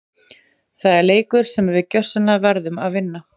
Það er leikur sem við gjörsamlega verðum að vinna!